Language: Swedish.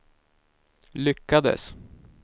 lyckades